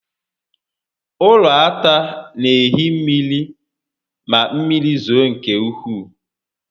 Ụlọ ata n'ehi mmiri ma mmiri zoo nke ukwuu